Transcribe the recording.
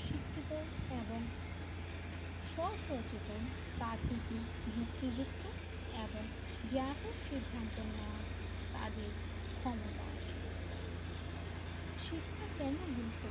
শিক্ষিত এবং স্ব সচেতন তা থেকে যুক্তিযুক্ত এবং জ্ঞাত সিদ্ধান্ত নেওয়ার তাদের ক্ষমতা আছে শিক্ষা কেন গুরুত্বপূর্ণ